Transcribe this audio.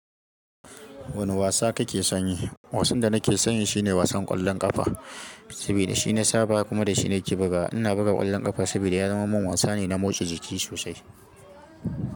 Wane wasa kake sanyi? Wasan da nake sanyi shine wasan ƙwallon ƙafa, sabida shi na saba kuma da shine ke buga. Ina buga ƙwallon ƙafa sabida ya zama min wasa ne na motsa jiki sosai.